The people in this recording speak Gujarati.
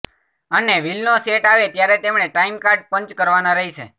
અને વિલનો સેટ આવે ત્યારે તેમણે ટાઈમ કાર્ડ પંચ કરવાના રહેશે